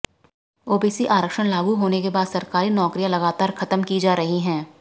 OBC आरक्षण लागू होने के बाद सरकारी नौकरियां लगातार ख़त्म की जा रही हैं